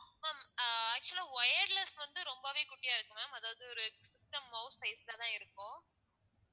ma'am ஆஹ் actual ஆ wireless வந்து ரொம்பவே குட்டியா இருக்கும் ma'am அதாவது ஒரு system mouse size ல தான் இருக்கும்